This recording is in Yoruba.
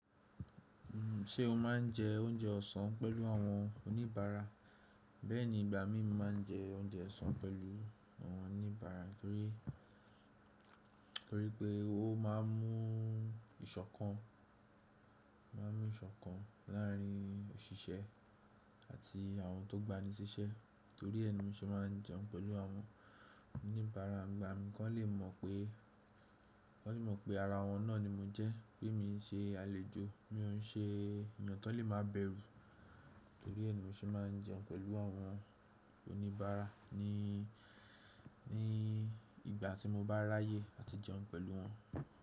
Ṣé o máa ń jẹ oúnjẹ ọ̀sán pẹ̀lú àwọn oníbàárà Bẹ́ẹ̀ni, ìgbà mí máa ń jẹ oúnjẹ ọ̀sán pẹ̀lú àwọn oníbàárà torí, tori pé ó má a mú iṣọkan ìṣọ̀kan láàrin òṣìṣẹ́ àti àwọn tó gba ni síṣẹ́ torí ẹni mi sì máa ń jẹun pẹ̀lú àwọn oníbàára n gbà mìí kọ le mọ pe kan lè mọ̀ pé ara wọn náà ni mo jẹ́, pé mi ń ṣe àlejò, mi ò ń ṣe èèyàn tọ lè má bẹ̀rù torí ẹ ni mi ṣe máa ń jẹun pẹ̀lú àwọn oníbàárà nii ní ìgbà tí mo bá ráyè àti jẹun pẹ̀lú wọn.